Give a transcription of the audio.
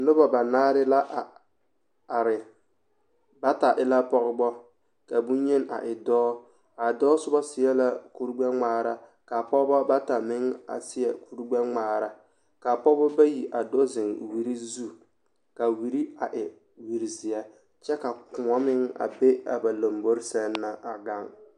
Noba banaare la a are bata e la pɔɡebɔ ka bonyeni a e dɔɔ a dɔɔ soba seɛ la kurɡbɛŋmaara ka a pɔɡebɔ bata meŋ seɛ kurɡbɛŋmaara ka a pɔɡebɔ bayi a do zeŋ wiri zu ka a wiri e wiri zeɛ kyɛ ka kõɔ meŋ be a ba lambori sɛŋ na a ɡaŋ.